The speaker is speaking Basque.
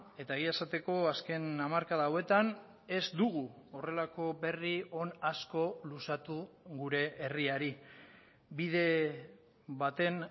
eta egia esateko azken hamarkada hauetan ez dugu horrelako berri on asko luzatu gure herriari bide baten